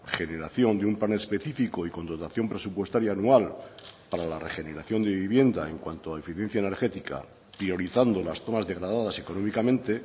generación de un plan específico y con dotación presupuestaria anual para la regeneración de vivienda en cuanto a eficiencia energética priorizando las zonas degradadas económicamente